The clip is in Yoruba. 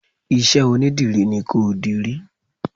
Isẹ́ onídìrí ni kó dirí